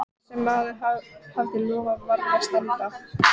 Hið þriðja geymdi hann sjálfum sér í hempuvasa.